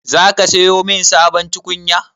Za ka siyo mun sabon tukunya?